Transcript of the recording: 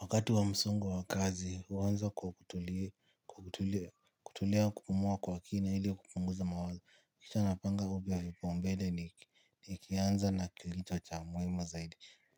Wakati wa msongo wa kazi huanza kwa kutulia, kupumua kwa kina ili kupunguza mawazo. Kisha napanga upya vipaumbele nikianza na kilicho cha muhimu zaidi.